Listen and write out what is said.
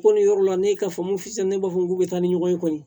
Ko nin yɔrɔ la ne ye kafo fɔ sisan ne b'a fɔ k'u bɛ taa ni ɲɔgɔn ye kɔni